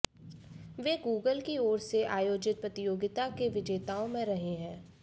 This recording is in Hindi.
वे गूगल की ओर से आयोजित प्रतियोगिता के विजेताओं में रहे हैं